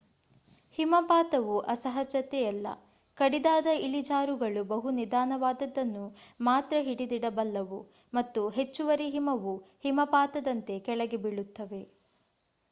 ಹಿಮಪಾತವು ಅಸಹಜತೆಯಲ್ಲ ಕಡಿದಾದ ಇಳಿಜಾರುಗಳು ಬಹು ನಿಧಾನವಾದದ್ದನ್ನು ಮಾತ್ರ ಹಿಡಿದಿಡಬಲ್ಲವು ಮತ್ತು ಹೆಚ್ಚುವರಿ ಹಿಮವು ಹಿಮಪಾತದಂತೆ ಕೆಳಗೆ ಬೀಳುತ್ತವೆ